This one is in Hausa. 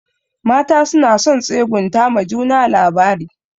Mata suna son tsegunta ma juna labari.